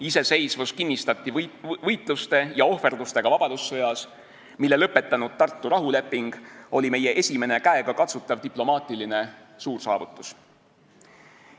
Iseseisvus kinnistati võitluste ja ohverdustega vabadussõjas, mille lõpetanud Tartu rahuleping oli meie esimene käegakatsutav diplomaatiline suursaavutus.